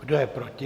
Kdo je proti?